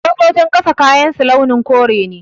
Sojojin ƙasa kayansu launin kore ne